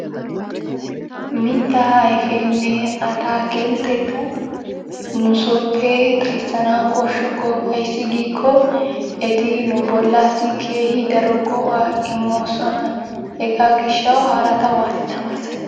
Mittaa ayfeenne ataakiltteta nu sooppe xayssanawu koshshokko. Ayssi giikko eti nu bollaassi keehi daro go'aa immoosona. Hegaa gishshawu harata waati tamaarissanee?